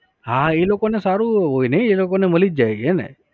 હા એ લોકોનું સારું એવું હોય નહિ એ લોકોને મલી જ જાય હે ને?